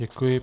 Děkuji.